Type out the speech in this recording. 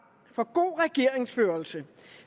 for god regeringsførelse